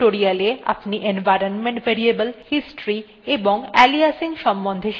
এই tutorial আপনি environment variables history এবং aliasing এর সম্বন্ধে শিখেছেন